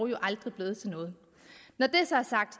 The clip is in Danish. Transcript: jo aldrig blevet til noget når det så er sagt